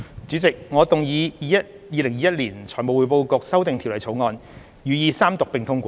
主席，我動議《2021年財務匯報局條例草案》予以三讀並通過。